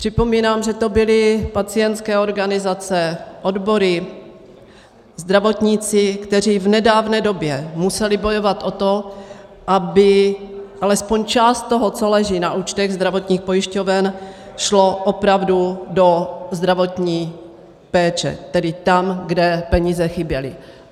Připomínám, že to byly pacientské organizace, odbory, zdravotníci, kteří v nedávné době museli bojovat o to, aby alespoň část toho, co leží na účtech zdravotních pojišťoven, šla opravdu do zdravotní péče, tedy tam, kde peníze chyběly.